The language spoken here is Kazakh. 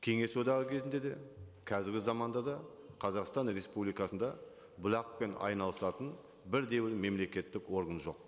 кеңес одағы кезінде де қазіргі заманда да қазақстан республикасында бұлақпен айналысатын бірде бір мемлекеттік орган жоқ